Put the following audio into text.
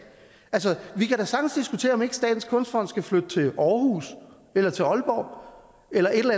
altså vi kan da sagtens diskutere om ikke statens kunstfond skal flytte til aarhus eller til aalborg eller et